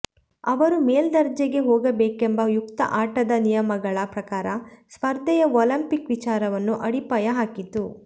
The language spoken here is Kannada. ಅವರು ಮೇಲ್ದರ್ಜೆಗೆ ಹೋಗಬೇಕೆಂಬ ಯುಕ್ತ ಆಟದ ನಿಯಮಗಳ ಪ್ರಕಾರ ಸ್ಪರ್ಧೆಯ ಒಲಿಂಪಿಕ್ ವಿಚಾರವನ್ನು ಅಡಿಪಾಯ ಹಾಕಿತು